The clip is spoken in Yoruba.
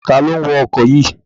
Ta ló ń wa ọkọ̀ yìí?